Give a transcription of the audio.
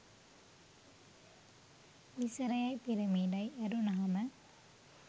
මිසරයයි පිරමීඩයි ඇරුනහම